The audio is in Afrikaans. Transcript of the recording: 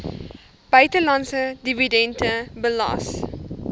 buitelandse dividend belas